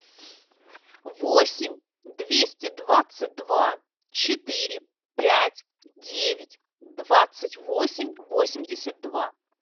восемь двести двадцать два четыре пять девять двадцать восемь восемьдесят два